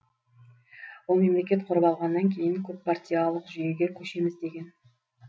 ол мемлекет құрып алғаннан кейін көппартиялық жүйеге көшеміз деген